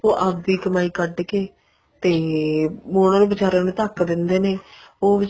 ਉਹ ਆਪਦੀ ਕਮਾਈ ਕੱਢ ਕੇ ਤੇ ਉਹਨਾ ਬਿਚਾਰੀਆਂ ਨੂੰ ਧੱਕ ਦਿੰਦੇ ਨੇ ਉਹ